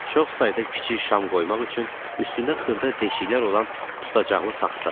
Çox sayda kiçik şam qoymaq üçün üstündə xırda deşiklər olan tutacaqlı taxta.